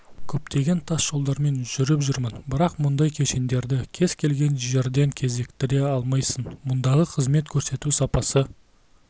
көптеген тасжолдармен жүріп жүрмін бірақ мұндай кешендерді кез келген жерден кезіктіре алмайсың мұндағы қызмет көрсету сапасы